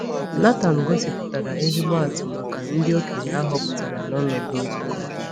Nàthán gosipụtara ezigbo atụ maka ndị okenye a họpụtara n’ọnọdụ nzukọ.